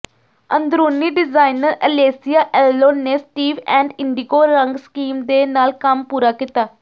ਅੰਦਰੂਨੀ designer Alesia Alon ਨੇ Steve and indigo ਰੰਗ ਸਕੀਮ ਦੇ ਨਾਲ ਕੰਮ ਪੂਰਾ ਕੀਤਾ